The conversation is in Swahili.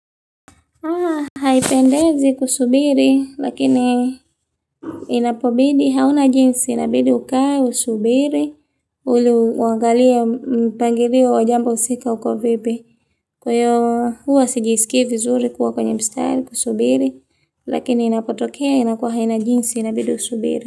Haipendezi kusubiri, lakini inapobidi, hauna jinsi, inabidi ukae, usubiri, iliuangalie mpangilio wa jambo husika uko vipi. Kwa hiyo huwa sijisiki vizuri kuwa kwenye mstari, kusubiri, lakini inapotokea, inakuwa haina jinsi, inabidi usubiri.